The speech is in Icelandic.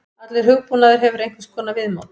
Allur hugbúnaður hefur einhvers konar viðmót.